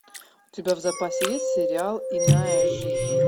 у тебя в запасе есть сериал иная жизнь